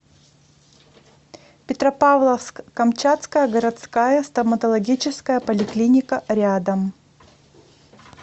петропавловск камчатская городская стоматологическая поликлиника рядом